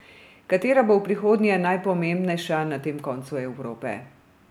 Katera bo v prihodnje najpomembnejša na tem koncu Evrope?